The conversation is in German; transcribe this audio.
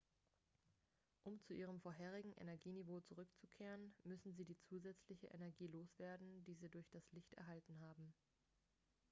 um zu ihrem vorherigen energieniveau zurückzukehren müssen sie die zusätzliche energie loswerden die sie durch das licht erhalten haben